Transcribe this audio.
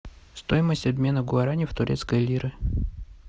стоимость обмена гуарани в турецкие лиры